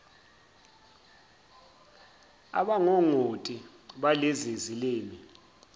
abangongoti balezi zilimi